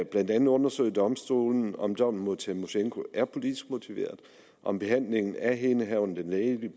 blandt andet undersøger domstolen om dommen mod tymosjenko er politisk motiveret og om behandlingen af hende herunder den lægelige